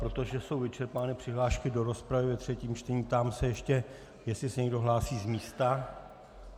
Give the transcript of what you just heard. Protože jsou vyčerpány přihlášky do rozpravy ve třetím čtení, ptám se ještě, jestli se někdo hlásí z místa.